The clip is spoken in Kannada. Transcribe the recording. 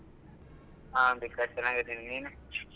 ಹಾ ಅಂಬಿಕಾ ಚನ್ನಾಗಿದೀನಿ ನೀನು?